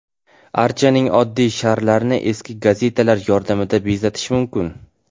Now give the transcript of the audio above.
Archaning oddiy sharlarini eski gazetalar yordamida bezatish mumkin.